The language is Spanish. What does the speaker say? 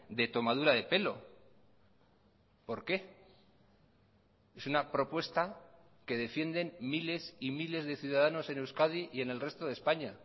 de tomadura de pelo por qué es una propuesta que defienden miles y miles de ciudadanos en euskadi y en el resto de españa